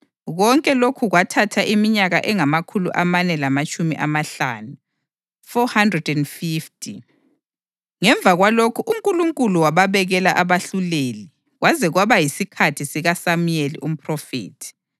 Konke lokho kwathatha iminyaka engamakhulu amane lamatshumi amahlanu (450). Ngemva kwalokhu uNkulunkulu wababekela abahluleli kwaze kwaba yisikhathi sikaSamuyeli umphrofethi.